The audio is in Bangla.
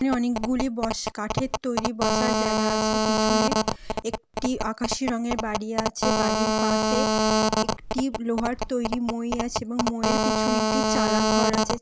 অনেকগুলি বস কাঠের তৈরি বসার জায়গা আছে। পিছনে একটি আকাশি রঙের বাড়ি আছে। বাড়ির পাশে একটি লোহার তৈরি মই আছে এবং মই-এর পিছনে একটি চালা ঘর আছে।